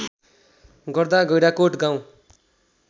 गर्दा गैंडाकोट गाउँ